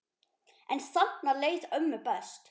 En þarna leið ömmu best.